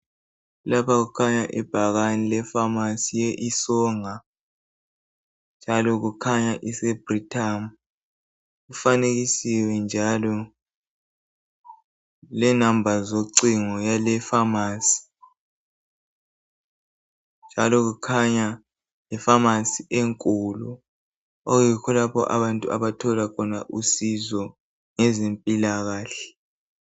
Lapha kukhanya ibhakane lefamasi ye lsonga njalo kukhanya iseBrithamu. Kufanekisiwe njalo lenombolo zocingo yale ifamasi. Kukhanya yifamasi enkulu okuyikho lapho abantu abathola khona usizo ngezempilakahle.